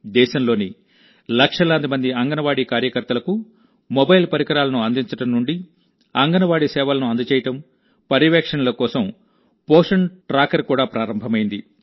దేశంలోని లక్షలాది మంది అంగన్వాడీ కార్యకర్తలకు మొబైల్ పరికరాలను అందించడం నుండి అంగన్వాడీ సేవలను అందజేయడం పర్యవేక్షణలకోసం పోషన్ ట్రాకర్ కూడాప్రారంభమైంది